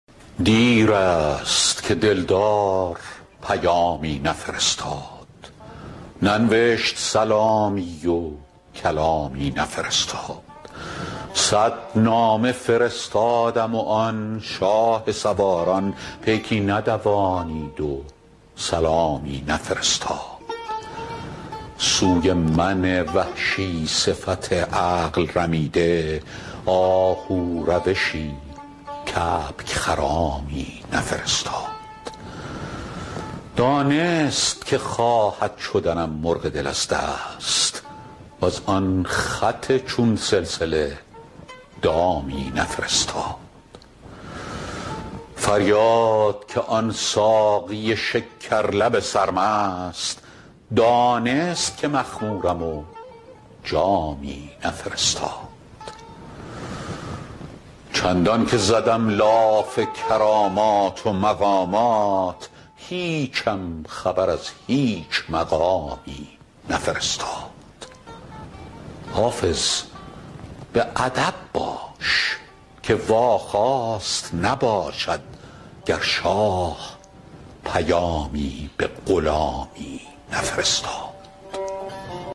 دیر است که دل دار پیامی نفرستاد ننوشت سلامی و کلامی نفرستاد صد نامه فرستادم و آن شاه سواران پیکی ندوانید و سلامی نفرستاد سوی من وحشی صفت عقل رمیده آهو روشی کبک خرامی نفرستاد دانست که خواهد شدنم مرغ دل از دست وز آن خط چون سلسله دامی نفرستاد فریاد که آن ساقی شکر لب سرمست دانست که مخمورم و جامی نفرستاد چندان که زدم لاف کرامات و مقامات هیچم خبر از هیچ مقامی نفرستاد حافظ به ادب باش که واخواست نباشد گر شاه پیامی به غلامی نفرستاد